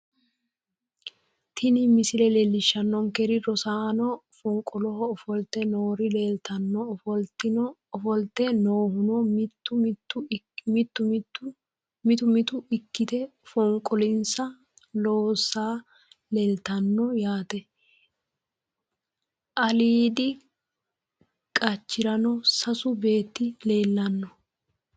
Tini misile leelishanoniker rosaano fonqoloho ofolte noor leelitanno ofolite noohuno mittu mittu ikkite fonqolonisa loosay leelitanno yaate ka"iidi qaccerano sasu beeti leellano.